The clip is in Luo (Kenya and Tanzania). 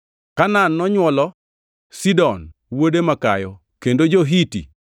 Kanaan nonywolo Sidon wuode makayo kendo jo-Hiti,